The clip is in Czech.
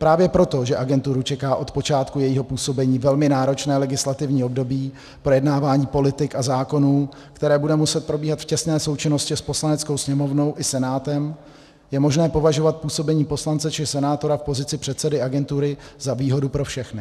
Právě proto, že agenturu čeká od počátku jejího působení velmi náročné legislativní období, projednávání politik a zákonů, které bude muset probíhat v těsné součinnosti s Poslaneckou sněmovnou i Senátem, je možné považovat působení poslance či senátora v pozici předsedy agentury za výhodu pro všechny.